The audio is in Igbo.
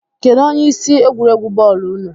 Kedụ onye isi egwuregwu bọọlu ụnụ?